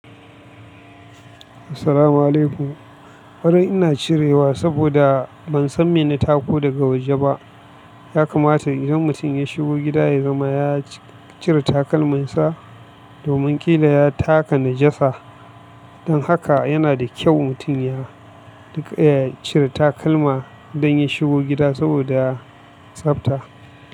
Assalamualaikum. Farin ina cirewa saboda ban san mene tako daga waje ba. Ya kamata idan mutum ya shigo gida ya zama ya cire takalminsa domin ƙila ya taka najasa. Don haka yana da kyau mutum ya cire takalma idan ya shigo gida saboda tsafta.